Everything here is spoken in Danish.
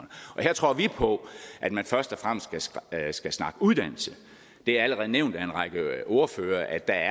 her tror vi på at man først og fremmest skal snakke uddannelse det er allerede blevet nævnt af en række ordførere at der